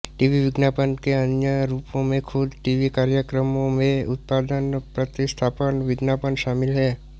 TV विज्ञापन के अन्य रूपों में खुद टीवी कार्यक्रमों में उत्पाद प्रतिस्थापन विज्ञापन शामिल है